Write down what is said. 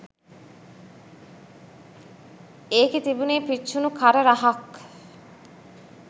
ඒකේ තිබුණේ පිච්චුණු කර රහක්.